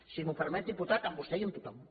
si m’ho permet diputat amb vostè i amb tothom